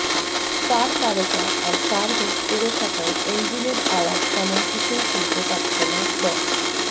fur parka আর fur hood পরে থাকায় এঞ্জিনের আওয়াজ তেমন কিছুই শুনতে পাচ্ছে না ড